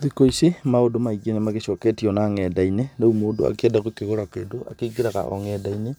Thiku ici maũndũ maingĩ nĩ magĩcoketio na nenda-inĩ rĩu mũndũ akĩenda kũgũra kĩndũ akĩingĩraga o nenda-inĩ